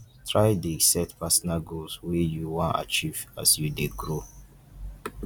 try dey set personal goals wey you wan achieve as you dey grow